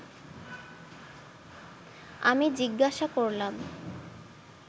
আমি জিজ্ঞাসা করলাম